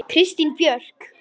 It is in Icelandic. Kristín Björk.